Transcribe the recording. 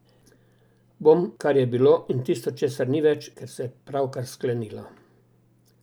Bom, kar je bilo, in tisto, česar ni več, ker se je pravkar sklenilo.